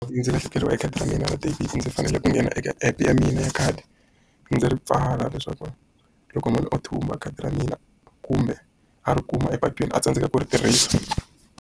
Ndzi lahlekeriwile hi khadi ra mina ra debit, ndzi fanele ku nghena eka app ya mina ya khadi. Ndzi ri pfala leswaku loko munhu o thumba khadi ra mina, kumbe a ri kuma epatwini a tsandzeka ku ri tirhisa.